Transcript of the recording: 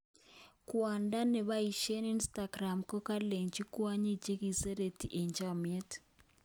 Kwando nepaishen Instagram kokalachi kwanyik chekiserete eng chamiet